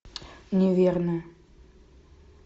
неверная